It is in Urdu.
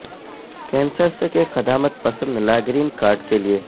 کنسرس کے قدامت پسند لا گرین کارڈ کے لئے